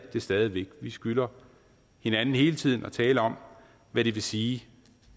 stadig væk vi skylder hinanden hele tiden at tale om hvad det vil sige